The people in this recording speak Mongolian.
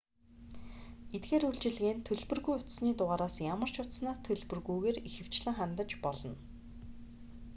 эдгээр үйлчилгээнд төлбөргүй утасны дугаараас ямар ч утаснаас төлбөргүйгээр ихэвчлэн хандаж болно